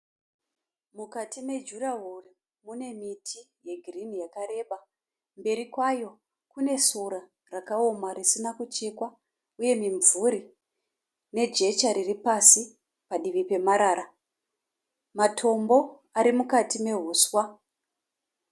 Mukati me jurawo mune miti yeghirini yakareba, mberi kwayo kune sora rakaoma risina kuchekwa, uye mimvuri nejecha riri pasi padivi pemarara, matombo ari mukati mehuswa.